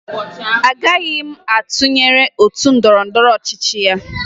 Agaghị m atụnyere otu ndọrọndọrọ ọchịchị ya